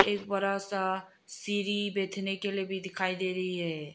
एक बड़ा सा सीढ़ी बैठने के लिए भी दिखाई दे रही है।